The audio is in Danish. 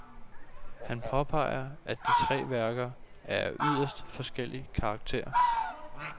Han påpeger at de tre værker er af yderst forskellig karakter.